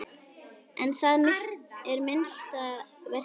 En það er minnsta verkið.